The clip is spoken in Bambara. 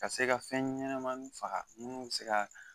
Ka se ka fɛn ɲɛnamaninw faga munnu bɛ se ka